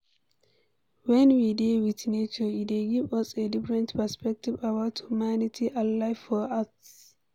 When we dey with nature e dey give us a differnt perspective about humanity and life for earth